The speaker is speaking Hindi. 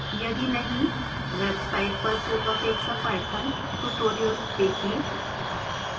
यदि नहीं वेबसाइट पर पूर्वापेक्षा पाइथन ट्यूटोरियल्स देखें